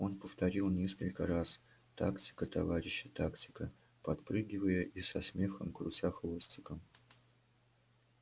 он повторил несколько раз тактика товарищи тактика подпрыгивая и со смехом крутя хвостиком